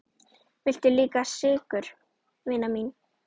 Viltu líka sykur, vina mín?